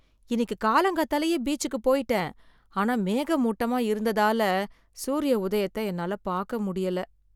இன்னிக்கு காலங்காத்தாலேயே பீச்சுக்கு போயிட்டேன், ஆனா மேகமூட்டமா இருந்ததால சூரிய உதயத்த என்னால பாக்க முடியல